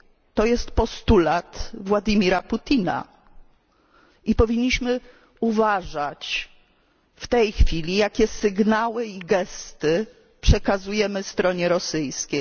To jest postulat Władimira Putina i powinniśmy uważać w tej chwili, jakie sygnały i gesty przekazujemy stronie rosyjskiej.